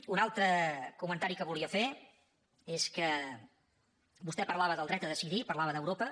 un altre comentari que volia fer és que vostè parlava del dret a decidir parlava d’europa